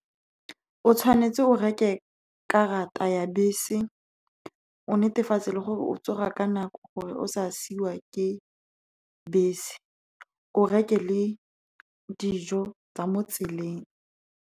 O tshwanetse o reke karata ya bese, o netefatse gore o tsoga ka nako gore o se siwe ke bese, gape o reke le dijo tsa mo tseleng.